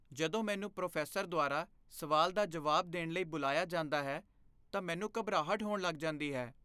ਜਦੋਂ ਮੈਨੂੰ ਪ੍ਰੋਫੈਸਰ ਦੁਆਰਾ ਸਵਾਲ ਦਾ ਜਵਾਬ ਦੇਣ ਲਈ ਬੁਲਾਇਆ ਜਾਂਦਾ ਹੈ ਤਾਂ ਮੈਨੂੰ ਘਬਰਾਹਟ ਹੋਣ ਲੱਗ ਜਾਂਦੀ ਹੈ।